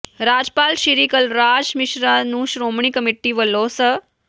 ਰਾਜਪਾਲ ਸ੍ਰੀ ਕਲਰਾਜ ਮਿਸ਼ਰਾ ਨੂੰ ਸ਼੍ਰੋਮਣੀ ਕਮੇਟੀ ਵੱਲੋਂ ਸ